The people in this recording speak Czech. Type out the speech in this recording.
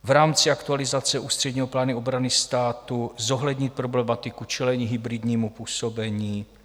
V rámci aktualizace ústředního plánu obrany státu zohlednit problematiku čelení hybridnímu působení.